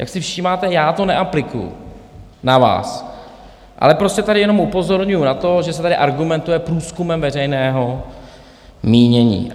Jak si všímáte, já to neaplikuji na vás, ale prostě tady jenom upozorňuji na to, že se tady argumentuje průzkumem veřejného mínění.